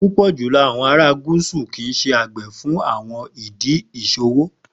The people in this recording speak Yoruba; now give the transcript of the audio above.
Pupọ julọ awọn ara Gusu kii ṣe agbe fun awọn idi iṣowo.